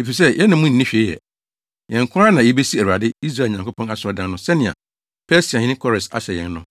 efisɛ yɛne mo nni hwee yɛ. Yɛn nko ara na yebesi Awurade, Israel Nyankopɔn, asɔredan no sɛnea Persiahene Kores ahyɛ yɛn no.”